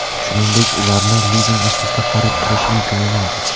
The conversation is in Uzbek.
Shuningdek, ularni lizing asosida xarid qilish imkoni mavjud.